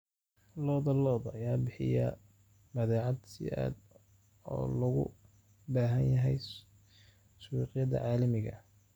Lo'da lo'da ayaa bixiya badeecad si aad ah loogu baahan yahay suuqyada caalamiga ah.